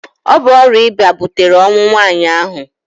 Ọ bụ ọrịa ịba butere ọnwụ nwaanyị ahụ.